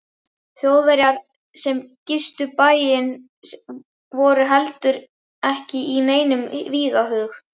Þjóðverjar sem gistu bæinn voru heldur ekki í neinum vígahug.